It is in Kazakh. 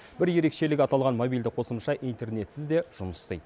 бір ерекшелігі аталған мобильді қосымша интернетсіз де жұмыс істейді